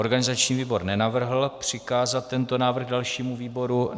Organizační výbor nenavrhl přikázat tento návrh dalšímu výboru.